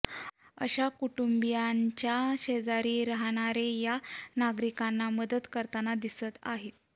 अशा कुटुंबियांच्या शेजारी राहणारे या नागरिकांना मदत करताना दिसत आहेत